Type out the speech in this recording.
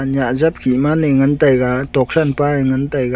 nyah zap khima nai ngan tega thokhan Pa eh ngan tega.